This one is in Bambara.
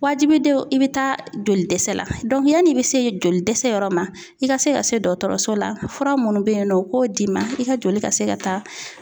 Wajibi don i bi taa joli dɛsɛ la yann'i be se joli dɛsɛ yɔrɔ ma, i ka se ka se dɔgɔtɔrɔso la fura munnu be yen nɔ u k'o d'i ma i ka joli ka se ka taa